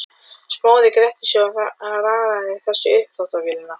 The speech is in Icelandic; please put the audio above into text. Smári gretti sig og raðaði þessu í uppþvottavélina.